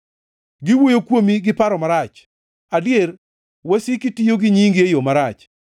Giwuoyo kuomi gi paro marach; adier, wasiki tiyo gi nyingi e yo marach.